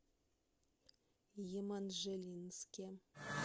еманжелинске